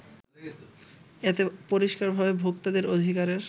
এতে পরিস্কারভাবে ভোক্তাদের অধিকারের